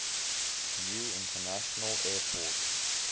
new international airport